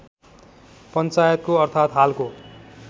पञ्चायतको अर्थात् हालको